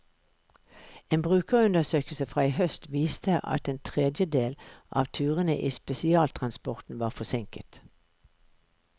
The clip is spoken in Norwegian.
En brukerundersøkelse fra i høst viste at en tredjedel av turene i spesialtransporten var forsinket.